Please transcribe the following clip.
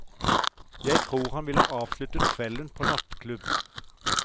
Jeg tror han ville avsluttet kvelden på nattklubb.